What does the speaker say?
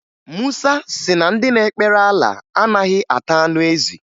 Musa si na ndị na-ekpere Alaa anaghị ata anụ ezi